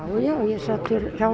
já ég sat fyrir hjá